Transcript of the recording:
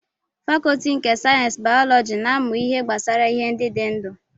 Fakọọti nke sayensị bayọlọji na-amụ ihe gbasara ihe ndị dị ndụ